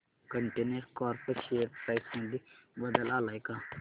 container corp share price मध्ये बदल आलाय का